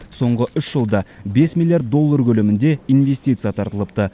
соңғы үш жылда бес миллиард доллар көлемінде инвестиция тартылыпты